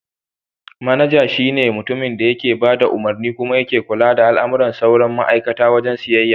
Manaja shi ne mutumin da yake bada umarni kuma yake kula da al'amuran sauran ma'aikata a wajen siyayya.